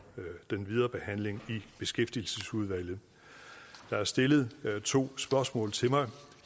med den videre behandling i beskæftigelsesudvalget der er stillet to spørgsmål til mig